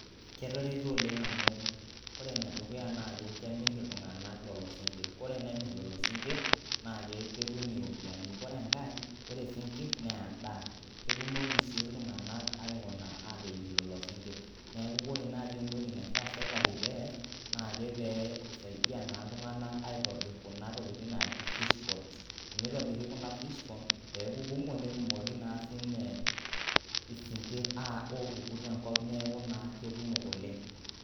Ketareto oleng amu ore nedukuya naake kemirr iltung'anak lolo sinkirr, korenemirr lolo sinkirr naake ketum iropiani, korenkai kore sinkirr neendaa, ketumoki sii iltung'anak aikuna ateyierr lolo sinkirr neaku korenayi entoki naifaa serkali peeas naake pee eisaidia naa iltung'anak aitobirr kuna tokitin naaji fish ponds, teneitobiri kuna fish ponds peeku kumo netumoki naa siine isinkirr opuku tenkop neeku naa kekumok oleng.